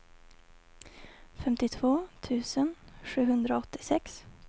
femtiotvå tusen sjuhundraåttiosex